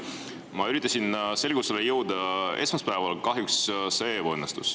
Ma üritasin selgusele jõuda esmaspäeval, kuid kahjuks see ebaõnnestus.